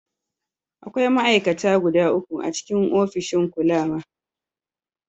Akwai ma'aikata guda uku a cikin ofishin kulawa.